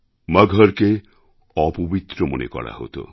মগহরকে অপবিত্র মনে করা হতো